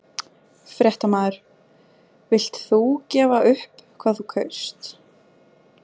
Fréttamaður: Villt þú gefa upp hvað þú kaust?